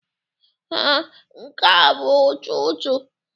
Ee, nke a bụ ụtụtụ.